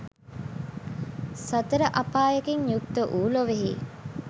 සතර අපායකින් යුක්ත වූ ලොවෙහි